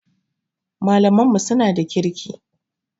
Malaman mu suna da kirki